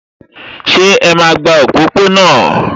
Ṣé ẹ máa gba òpópó-ọ̀nà?